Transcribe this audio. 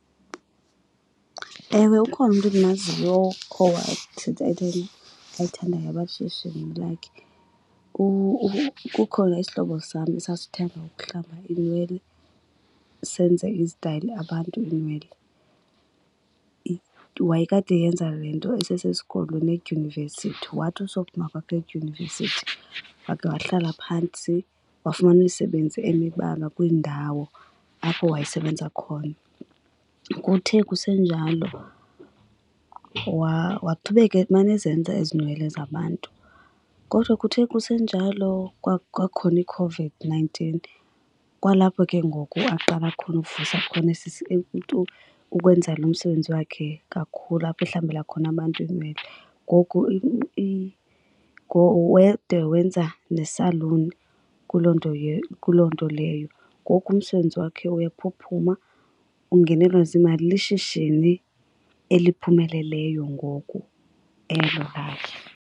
Ewe, ukhona umntu endimaziyo owatshintsha into ayithandayo yaba lishishini lakhe. Kukho nesihlobo sam esasithanda ukuhlamba iinwele senze izitayile abantu iinwele. Wayekade eyenza le nto esesesikolweni edyunivesithi wathi usophuma kwakhe edyunivesithi wakhe wahlala phantsi wafumana umsebenzi emibala kwindawo apho wayesebenza khona. Kuthe kusenjalo waqhubeka emane ezenza ezi nwele zabantu. Kodwa kuthe kusenjalo kwakhona iCOVID-nineteen kwalapho ke ngoku aqala khona ukuvusa khona ukwenza lo msebenzi wakhe kakhulu, apho ahlambela khona abantu iinwele. Ngoku wade wenza nesaluni kuloo nto kuloo nto leyo. Ngoku umsebenzi wakhe uyaphuphuma ungenelwa zimali. Lishishini eliphumeleleyo ngoku elo lakhe.